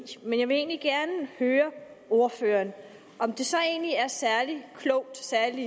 men jeg vil egentlig gerne høre ordføreren om det så er særlig klogt særlig